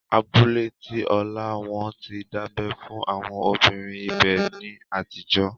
Abúlé tí Ọlá, Wọ́n ti dábẹ́ fún àwọn obìnrin ibẹ̀ ní àtijọ́